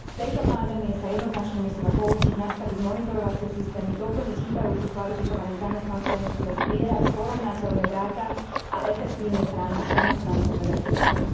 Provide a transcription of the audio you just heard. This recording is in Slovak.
Z tejto pandémie sa jednoznačne musíme poučiť, nastaviť monitorovacie systémy, doplniť chýbajúcich kvalifikovaných zamestnancov, musíme zbierať porovnateľné dáta, a efektívne chrániť zamestnancov, ako aj klientov.